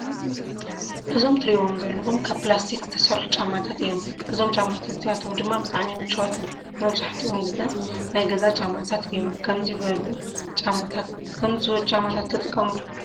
ጫማ እንትከው ካብ ፕላስቲክ ዝተሰርሑ ጫማታት እዮም እዞም ጫማታት እዚኣቶም ድማ ብጣዕሚ ምችዋት እዮም። መብዛሕቲኦ ግዜ ናይ ገዛ ጫማታት እዮም ከምዙይ በሉ ጫማታት ትጥቀሙ ዶ ?